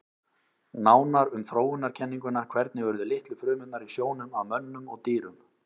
Nánar um þróunarkenninguna Hvernig urðu litlu frumurnar í sjónum að mönnum og dýrum?